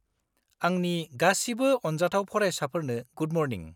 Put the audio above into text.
-आंनि गासिबो अनजाथाव फरायसाफोरनो गुड मर्निं।